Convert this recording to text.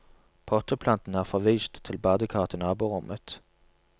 Potteplantene er forvist til badekaret i naborommet.